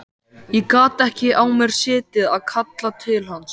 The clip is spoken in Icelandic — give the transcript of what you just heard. Ég gat ekki á mér setið að kalla til hans.